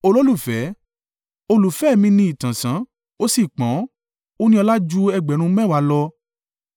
Olùfẹ́ mi ní ìtànṣán ó sì pọ́n ó ní ọlá ju ẹgbẹ̀rún mẹ́wàá (10,000) lọ.